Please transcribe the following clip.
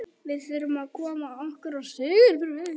Við þurfum að koma okkur á sigurbraut.